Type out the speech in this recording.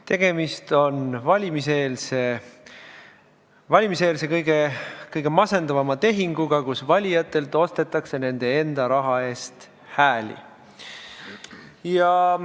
Tegemist on valimiseelse kõige masendavama tehinguga, kus valijatelt ostetakse nende enda raha eest hääli.